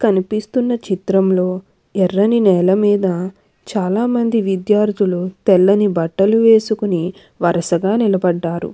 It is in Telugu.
కనిపిస్తున్న చిత్రంలో ఎర్రని నేలమీద చాలామంది విద్యార్థులు తెల్లని బట్టలు వేసుకుని వరుసగా నిలబడ్డారు.